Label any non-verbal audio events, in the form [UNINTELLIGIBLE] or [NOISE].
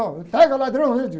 [UNINTELLIGIBLE] pega ladrão, [UNINTELLIGIBLE]